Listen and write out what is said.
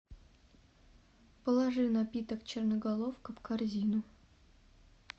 положи напиток черноголовка в корзину